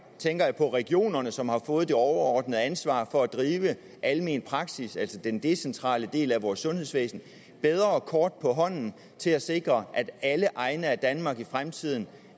tænker jeg på regionerne som har fået det overordnede ansvar for at drive almen praksis altså den decentrale del af vores sundhedsvæsen bedre kort på hånden til at sikre at alle egne af danmark i fremtiden